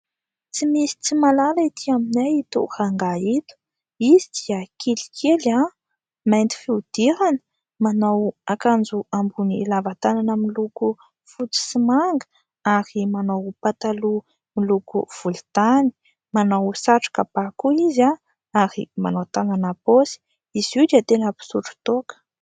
Tsy misy tsy mahalala ety aminay ito rangahy ito, izy dia kelikely mainty fihodirana, manao akanjo amboniny lava tanana miloko fotsy sy manga ary manao pataloha miloko volontany, manao satroka ba koa izy ary manao tanana ampaosy izy io dia tena mpisotro toaka.